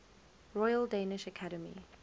royal danish academy